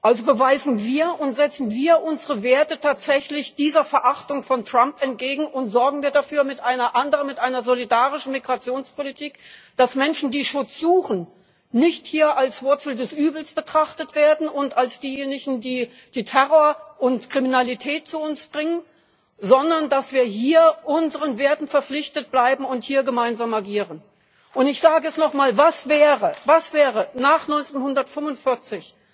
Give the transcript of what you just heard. Also beweisen wir und setzen wir unsere Werte tatsächlich dieser Verachtung von Trump entgegen und sorgen wir mit einer anderen, mit einer solidarischen Migrationspolitik dafür, dass Menschen, die Schutz suchen, hier nicht als Wurzel des Übels betrachtet werden und als diejenigen, die Terror und Kriminalität zu uns bringen, sondern dass wir hier unseren Werten verpflichtet bleiben und hier gemeinsam agieren. Ich sage es nochmal Was wäre nach 1945